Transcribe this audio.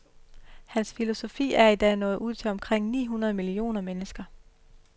Hans filosofi er i dag nået ud til omkring ni hundrede millioner mennesker.